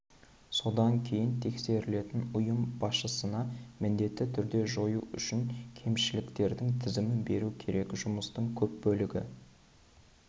содан кейін тексерілетін ұйым басшысына міндетті түрде жою үшін кемшіліктердің тізімін беруі керек жұмыстың көп бөлігі